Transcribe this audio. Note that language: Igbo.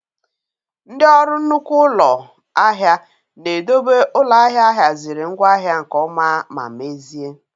Ndị orụ nnukwu ụlọ ahịa na-edobe ụlọ ahịa ahiaziri ngwaahia nke ọma ma mezie